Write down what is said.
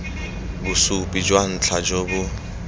bosupi jwa ntlha jo bo